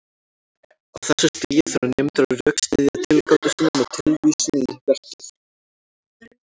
Á þessu stigi þurfa nemendur að rökstyðja tilgátur sínar með tilvísun í verkið.